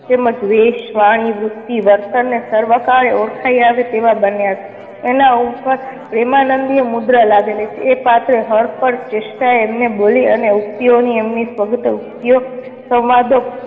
તેમ જ વેશ, વાણી, વૃતિ ને વર્તન સર્વ કાળે ઓળખાય આવે તેવા બન્યા છે. એના ઉપર પ્રેમાનંદીય મુદ્રા લાગેલી છે. એ પાત્ર હર પળ ચેષ્ઠા એમને બોલી અને યુક્તિઓ ની એમની યુક્તિઓ સંવાદો